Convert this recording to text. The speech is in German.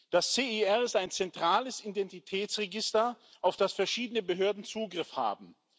Das CIR ist ein zentrales Identitätsregister, auf das verschiedene Behörden Zugriff haben.